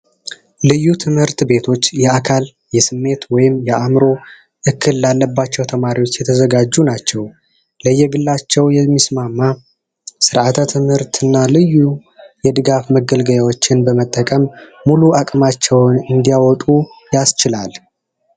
ልዩ ትምህርት ቤቶች የአካል፣ የስሜት ወይም የአእምሮ እክል ላለባቸው ተማሪዎች የተዘጋጁ ናቸው። ለየግላቸው የሚስማማ ስርአተ ትምህርት እና ልዩ የድጋፍ መገልገያዎችን በመጠቀም ሙሉ አቅማቸውን እንዲያወጡ ያስችላል።